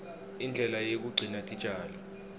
indlela yekugcina titjalo